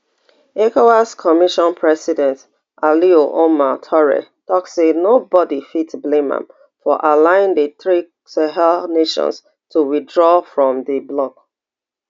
ecowas commission president alieu omar touray tok say nobody fit blame am for allowing di three sahel nations to withdraw from di bloc